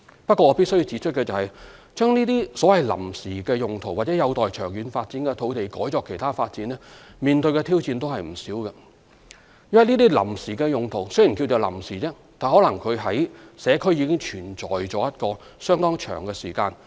不過，我必須指出，把這些有臨時用途或有待長遠發展的土地改作其他發展，面對的挑戰也不少，因為這些臨時用途雖屬臨時，但可能在社區已存在一段相當長的時間。